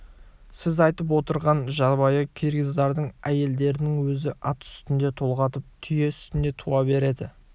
сіз айтып отырған жабайы киргиздардың әйелдерінің өзі ат үстінде толғатып түйе үстінде туа береді